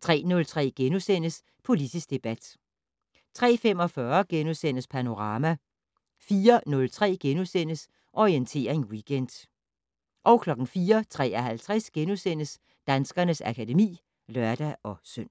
* 03:03: Politisk debat * 03:45: Panorama * 04:03: Orientering Weekend * 04:53: Danskernes akademi *(lør-søn)